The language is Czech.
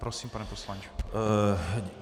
Prosím, pane poslanče.